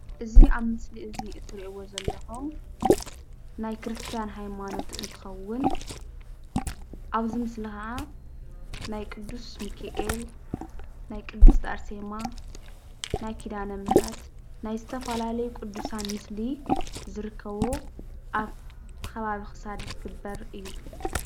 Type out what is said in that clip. እዚ ኣብ ምስሊ እዚ ትሪእዎ ዘለኹም ናይ ክርስቲያን ሃይማኖት እንትኸውን ኣብዚ ምስሊ ከዓ ናይ ቅዱስ ሚኪኤል፣ ናይ ቅድስት ኣርሴማ፣ ናይ ኪዳነ ምህረት፣ ናይ ዝተፈላለዩ ቅዱሳን ምስሊ ዝርከቦ ኣብ ከባቢ ኽሳድ ዝግበር እዩ፡፡